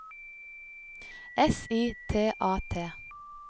S I T A T